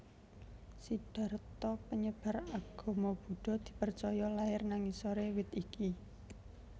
Siddharta penyebar agama Buddha dipercaya lair nang ngisore wit iki